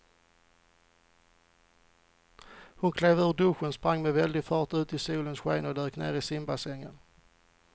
Hon klev ur duschen, sprang med väldig fart ut i solens sken och dök ner i simbassängen.